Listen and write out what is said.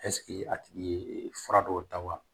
ɛsike a tigi ye fura dɔw ta wa